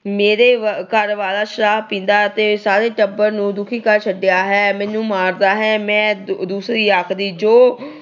ਮੇਰੇ ਘਰ ਵਾਲਾ ਸ਼ਰਾਬ ਪੀਂਦਾ ਅਤੇ ਸਾਰੇ ਟੱਬਰ ਨੂੰ ਦੁਖੀ ਕਰ ਛੱਡਿਆ ਏ, ਮੈਨੂੰ ਮਾਰਦਾ ਏ। ਮੈਂ ਦੂਸਰੀ ਆਖਦੀ ਜੋ